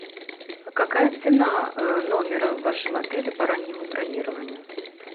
а какая цена номера в вашем отеле по раннему бронированию